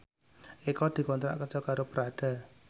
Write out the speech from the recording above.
Eko dikontrak kerja karo Prada